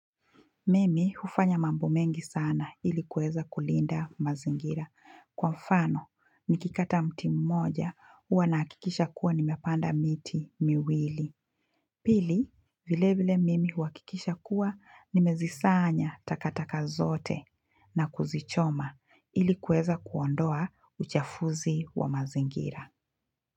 Mimi hufanya mambo mengi sana ili kuweza kulinda mazingira. Kwa mfano, nikikata mti mmoja, huwa nahakikisha kuwa nimepanda miti miwili. Pili, vile vile mimi huhakikisha kuwa, nimezisanya takataka zote. Na kuzichoma ili kuweza kuondoa uchafuzi wa mazingira.